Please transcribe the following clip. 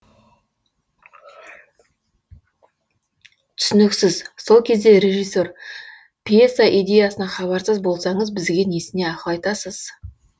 түсініксіз сол кезде режиссер пьеса идеясынан хабарсыз болсаңыз бізге несіне ақыл айтасыз